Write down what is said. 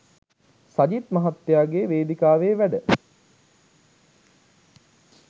සජිත් මහත්තයාගේ වේදිකාවේ වැඩ.